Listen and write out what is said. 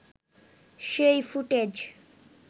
সেই ফুটেজ